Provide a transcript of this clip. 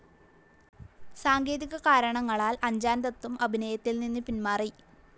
സാങ്കേതികകാരണങ്ങളാൽ അഞ്ജ്ജാൻ ദത്തും അഭിനയത്തിൽ നിന്ന് പിന്മാറി.